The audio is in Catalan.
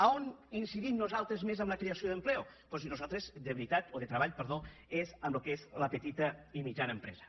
a on incidim nosaltres més en la creació d’empleo doncs nosaltres de veritat o de treball perdó és amb el que és la petita i la mitjana empresa